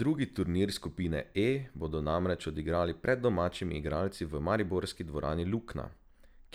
Drugi turnir skupine E bodo namreč odigrali pred domačimi igralci v mariborski dvorani Lukna,